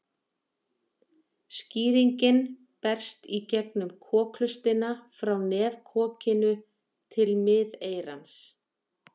Sýkingin berst í gegnum kokhlustina frá nefkokinu til miðeyrans.